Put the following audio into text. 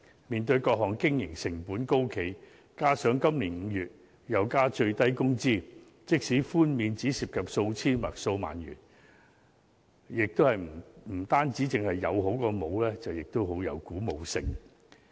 面對各項經營成本高企，加上今年5月又增加最低工資，即使寬免只涉及數千元或數萬元，也是有好過沒有，而且亦很具鼓舞性。